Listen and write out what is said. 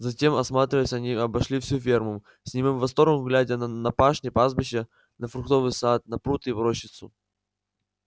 затем осматриваясь они обошли всю ферму с немым восторгом глядя на пашни пастбища на фруктовый сад на пруд и рощицу